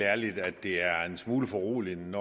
ærligt at det er en smule foruroligende at